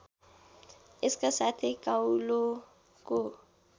यसका साथै काउलोको